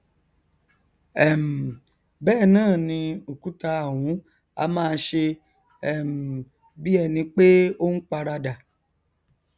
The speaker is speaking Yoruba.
um bẹẹ náà ni òkúta ọhún á máa ṣe um bí ẹnipé ó n paradà